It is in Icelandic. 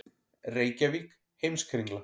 Reykjavík: Heimskringla.